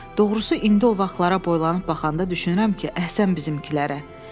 Doğrusu indi o vaxtlara boylanıb baxanda düşünürəm ki, əhsən bizim millətə.